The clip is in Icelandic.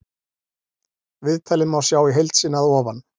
Viðtalið má sjá í heild sinni að ofan.